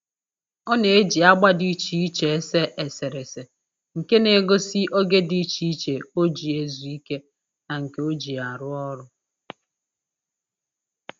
Ọ na-eji agba dị iche iche ese eserese nke na-egosi oge dị iche iche o ji ezu ike na nke o ji arụ ọrụ